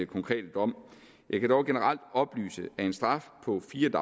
konkrete dom jeg kan dog generelt oplyse at en straf på fire